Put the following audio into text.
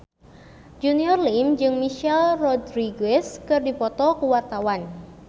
Junior Liem jeung Michelle Rodriguez keur dipoto ku wartawan